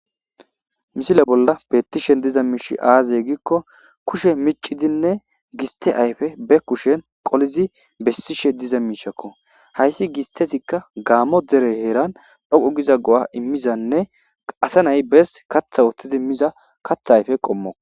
misile bolla bettishen diza miishi aaze gikko kushe micidinne giste ayfe be kushen qolizi bessishe diza miishakko hayssi gistezikka gaammo dere heeran dhoqo giza go7a immizanne qase nay bes katha woththizi miza katha ayfe qommo